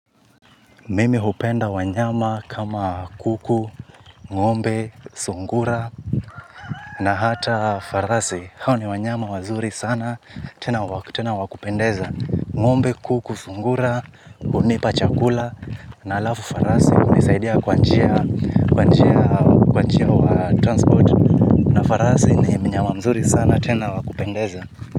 Mimi hupenda wanyama kama kuku, ng'ombe, sungura, na hata farasi. Hawa ni wanyama wazuri sana, tena wa kupendeza. Ngombe, kuku sungura hunipa chakula na alafu far-sighte hunisaidia kwa jia y transport na farasi ni mnyama mzuri sana, tena wa kupendeza.